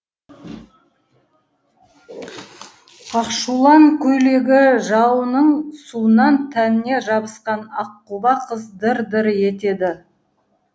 ақшулан көйлегі жауынның суынан тәніне жабысқан аққұба қыз дір дір етеді